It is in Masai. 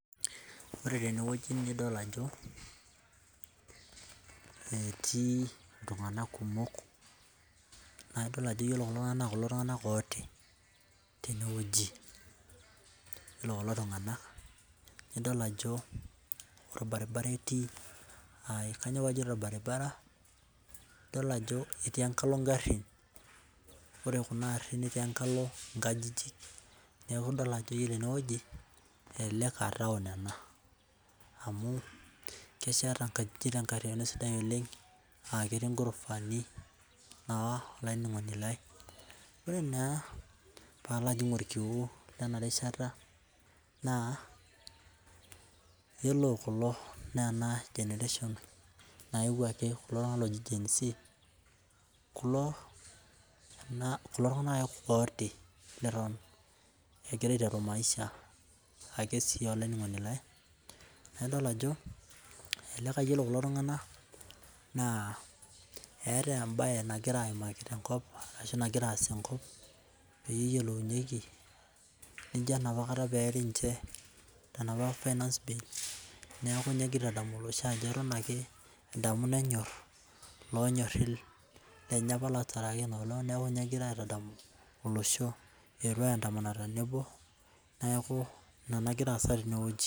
Ore teneweji nidol ajo etii iltungana kumok. Naa idol ajo ore kulo tungana naa kulo iltungana otii teneweji. Ore kulo tungana nidol ajo orbaribara eti. Kaiyoo pee ajoito orbaribara idol ajo etii enkalo garin. Ore garin enkalo inkajijik etii. Neeku idol ajo ore eneweji elelek naa town ena amu kesheta inkajijik te nkariano sidai oleng aa ketii taa ghorofa ni naa olaininingoni lai. Ore naa palo ajing orkiu lena rishata naa iyiolo kulo naa ena generation loito ake kulo tungana oji gen z kulo naa kulo tunangana otii leton egira aiteru maisha ake sii olaininingoni lai. Adol ajo ole iyiolo kulo tungana etaa ebae nagira aimaki tenkop ashu nagiraa aas tenkop peyiolounyeki. Ijo enapakata pee eri ninche tenapa finance bill neeku egira aitadamu ilosho ajo eton ake edamu nenyori lonyorii lenye lootaraki ino olong neeku ninye egira aitadamu olosho etuo ai andamana tenebo. Neeku ina nagira aasa teneweji.